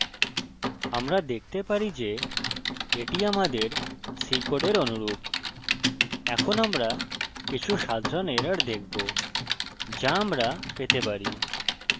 আমরা দেখতে পারি যে এটি আমাদের c কোডের অনুরূপ এখন আমরা কিছু সাধারণ এরর দেখব যা আমরা পেতে পারি